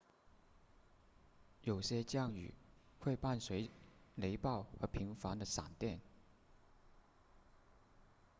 有些降雨会伴随雷暴和频繁的闪电